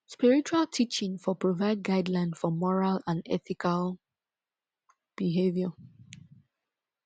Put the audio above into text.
spiritual teaching for provide guideline for moral and ethical behaviour